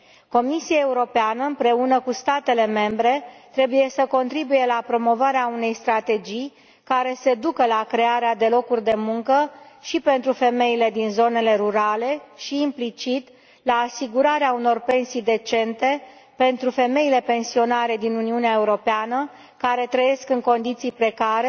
Comisia Europeană împreună cu statele membre trebuie să contribuie la promovarea unei strategii care să ducă la crearea de locuri de muncă și pentru femeile din zonele rurale și, implicit, la asigurarea unor pensii decente pentru femeile pensionare din Uniunea Europeană care trăiesc în condiții precare,